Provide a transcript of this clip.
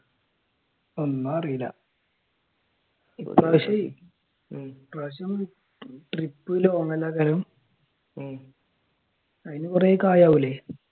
ഒന്നും അറിയില്ല ഉം ഇപ്പ്രാവശ്യം trip long ആക്കാനും അതിന് കുറെ കായ് ആകൂല്ലേ